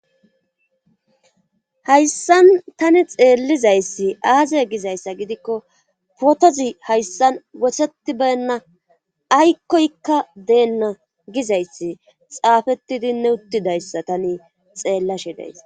Hayssan tani xeellizayssi aazey gizayssa gidikko potozi hayssan wohetibenna aykkoykka deenna gizayssi xaafetidinne uttidayssa tani xeellashe days.